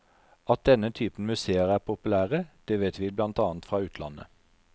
Og at denne type museer er populære, det vet vi blant annet fra utlandet.